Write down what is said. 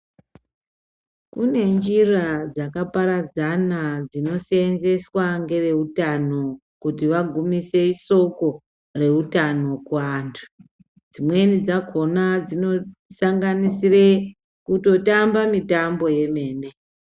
Kune njira dzakaparadzana dzinosenzeswa ngeveutano kuti vagumise soko reutano kuvantu. Dzimweni dzakona dzinosanganisire kutotamba mitambo yemene.